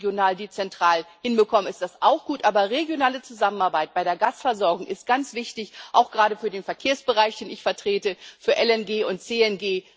Wenn wir das regional-dezentral hinbekommen, ist das auch gut. Regionale Zusammenarbeit bei der Gasversorgung ist ganz wichtig auch gerade für den Verkehrsbereich, den ich vertrete, für LNG und CNG.